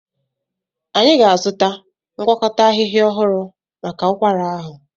Anyị ga-azụta ngwakọta ahịhịa ọhụrụ maka ụkwara ahụ.